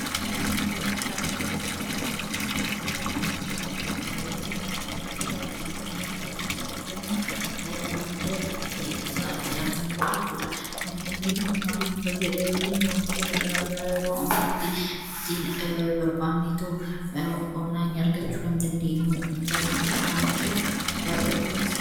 Madda bittaa intarneeti jechuun intarneetii mobaayila keenyaa akkasuma kan laappitooppii keenya irratti fayyadamuun madda itti isaa itti arannu qabaachuudha. Intarneetiin kun maaliifuu fayyada yoo jenne wantoota garaa garaa yeroo ammaatti ittiin barbaadan onlaayiniin argachuu kan dandeenyuu intarneetiidha wan ta'eef waan barbaachisaadha.